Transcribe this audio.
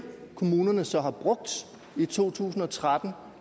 kommunerne så har brugt i to tusind og tretten